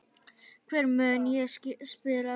Hvar mun ég spila?